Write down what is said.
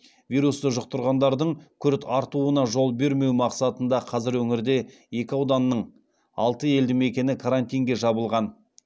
вирусты жұқтырғандардың күрт артуына жол бермеу мақсатында қазір өңірде екі ауданның алты елдімекені карантинге жабылған